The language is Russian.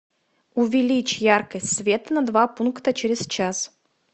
увеличь яркость света на два пункта через час